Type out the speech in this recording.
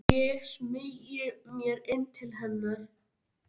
Ég smeygi mér inn til hennar.